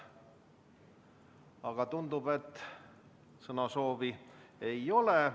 Aga tundub, et sõnasoovi ei ole.